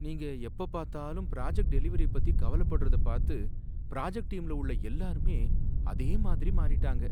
நீங்க எப்ப பார்த்தாலும் ப்ராஜக்ட் டெலிவரிய பத்தி கவலப்படறத பார்த்து ப்ராஜக்ட் டீம்ல உள்ள எல்லாரும் அதே மாதிரி மாறிட்டாங்க.